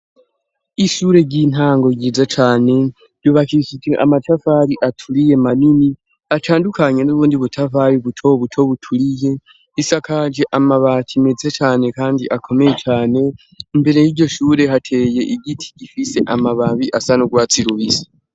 Ishure ry'intango ryiza cane, ryubakiishijwe amatafari aturiye manini, atandukanye n'ubundi butafari buto buto buturiye isakaje amabati meza cane kandi akomeye cane, imbere y'iryo shure hateye igiti gifise amababi asa n'urwatsi rubisi.